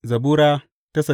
Zabura Sura